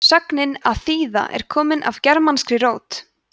sögnin að þýða er komin af germanskri rót